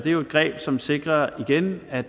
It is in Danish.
jo et greb som sikrer igen at